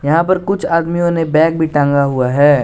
यहां पर कुछ आदमियों ने बैग भी टांगा हुआ है।